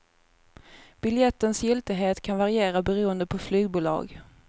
Biljettens giltighet kan variera beroende på flygbolag.